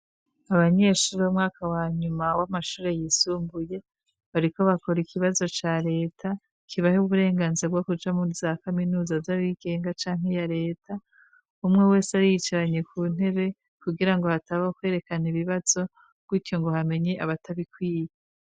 Abanyeshuri bo mwaka wanyuma w'amashuri yisumbuye, bariko bakora ikibazo ca leta kibaha uburenganzira bwo kuja muri za kaminuza z'abigenga canke ya leta. Umwe wese yari yiyicaranye ku ntebe kugira ngo hatabaho kwerekana ibibazo bityo ngo hamenye abatabikwiye.